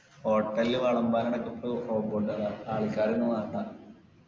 ഓ hotel ൽ വെളമ്പാനൊക്കെ ആൾക്കാര് ഒന്നുംവേണ്ട